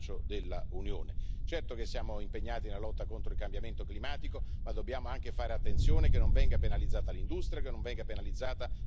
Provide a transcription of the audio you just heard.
Certo che siamo impegnati nella lotta contro il cambiamento climatico, ma dobbiamo anche fare attenzione che non venga penalizzata l'industria, che non venga penalizzata la nostra agricoltura.